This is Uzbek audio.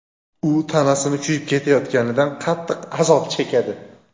u tanasini kuyib ketayotganidan qattiq azob chekadi.